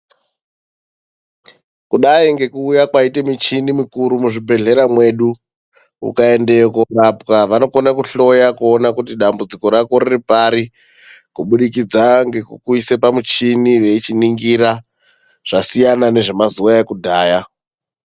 Kudai ngekuuya kwaite michinimi mukuru muzvibhehlera mwedu .Ukaendeyo korapwa vanokona kuhloya kuona kuti dambudziko rako riripari kuburikidza ngekukuisa pamuchini veichiningira ,zvasiyana nezvemazuva ekudhaya .